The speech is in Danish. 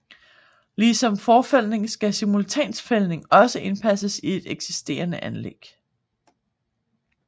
Ligesom forfældning kan simultanfældning også indpasses i et eksisterende anlæg